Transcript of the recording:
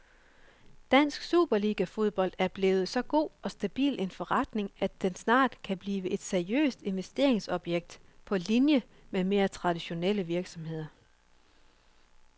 Dansk superligafodbold er blevet så god og stabil en forretning, at den snart kan blive et seriøst investeringsobjekt på linie med mere traditionelle virksomheder.